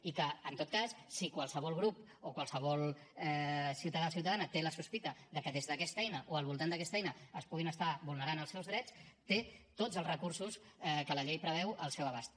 i que en tot cas si qualsevol grup o qualsevol ciutadà o ciutadana té la sospita de que des d’aquesta eina o al voltant d’aquesta eina es puguin estar vulnerant els seus drets té tots els recursos que la llei preveu al seu abast